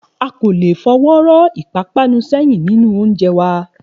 A kò lè fọwọ́ rọ́ ìpápanú sẹ́yìn nínú oúnjẹ wa